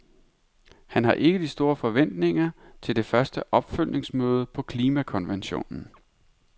Han har ikke de store forventninger til det første opfølgningsmøde på klimakonventionen.